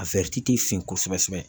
A fin kosɛbɛsɛbɛ.